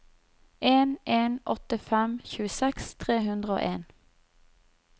en en åtte fem tjueseks tre hundre og en